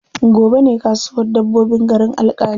Gobe ne kasuwar dabbobin garin Alƙali.